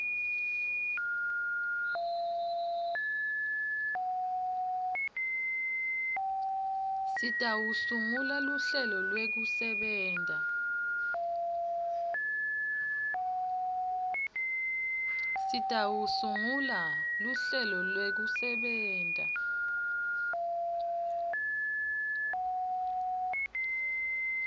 sitawusungula luhlelo lwekusebenta